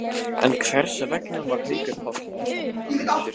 En hversvegna fór Haukur Páll af velli, var hann meiddur?